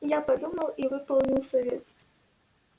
я подумал и выполнил совет